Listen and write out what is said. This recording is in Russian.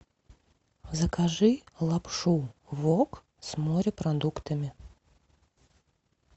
закажи лапшу вок с морепродуктами